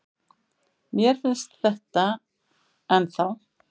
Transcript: Mér finnst þetta ennþá.